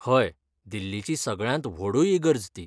हय, दिल्लीची सगळ्यांत व्हडूय इगर्ज ती.